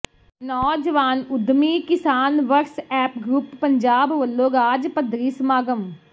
ਨੌਜਵਾਨ ਉੱਦਮੀ ਕਿਸਾਨ ਵਟਸਐਪ ਗਰੁੱਪ ਪੰਜਾਬ ਵਲੋਂ ਰਾਜ ਪੱਧਰੀ ਸਮਾਗਮ